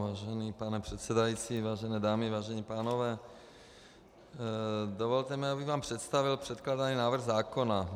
Vážený pane předsedající, vážené dámy, vážení pánové, dovolte mi, abych vám představil předkládaný návrh zákona.